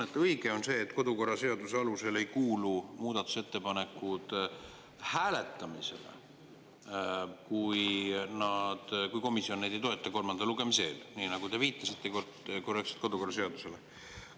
Õige on see, et kodukorraseaduse alusel ei kuulu muudatusettepanekud hääletamisele, kui komisjon neid ei toeta kolmanda lugemise eel, nii nagu te korrektselt kodukorraseadusele viitasite.